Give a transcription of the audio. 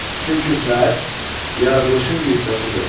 Çünki fərd yaradılışın bir hissəsidir.